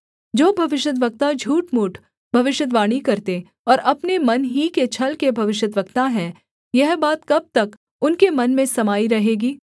जो भविष्यद्वक्ता झूठमूठ भविष्यद्वाणी करते और अपने मन ही के छल के भविष्यद्वक्ता हैं यह बात कब तक उनके मन में समाई रहेगी